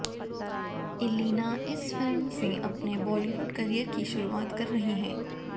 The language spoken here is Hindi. इलीना इस फिल्म से अपने बॉलीवुड करियर की शुरुआत कर रही हैं